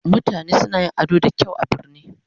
Mutane suna yin ado da kyau a birane